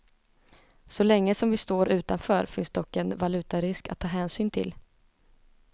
Så länge som vi står utanför finns dock en valutarisk att ta hänsyn till.